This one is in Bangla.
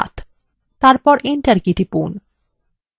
তারপর enter key টিপুন